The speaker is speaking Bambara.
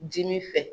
Dimi fɛ